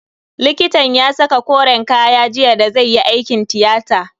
Likitan ya saka koren kaya jiya da zai yi aikin tiyata.